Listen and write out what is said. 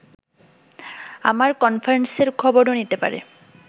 আমার কনফারেন্সের খবরও নিতে পারে